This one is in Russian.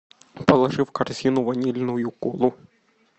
положи в корзину ванильную колу